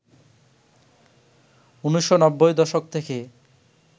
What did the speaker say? ১৯৯০ দশক থেকে